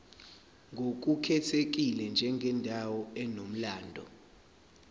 ngokukhethekile njengendawo enomlando